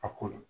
A ko la